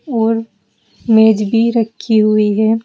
और मेज भी रखी हुई है।